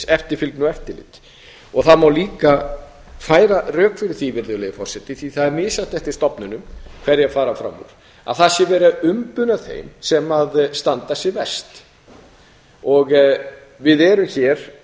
eftirfylgni og eftirlit það má líka færa rök fyrir því virðulegi forseti því það er misjafnt eftir stofnunum hverjar fara fram úr að það sé verið að umbuna þeim sem standa sig verst við erum hér